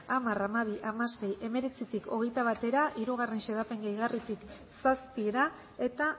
hamar hamabi hamasei hemeretzitik hogeita batera hiru xedapen gehigarritik zazpira eta